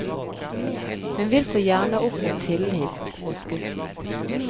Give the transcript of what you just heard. Hun vil så gjerne oppnå tillit hos gutten.